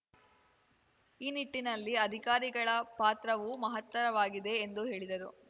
ಈ ನಿಟ್ಟಿನಲ್ಲಿ ಅಧಿಕಾರಿಗಳ ಪಾತ್ರವು ಮಹತ್ತರವಾಗಿದೆ ಎಂದು ಹೇಳಿದರು